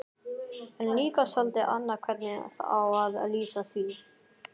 En líka soldið annað hvernig á að lýsa því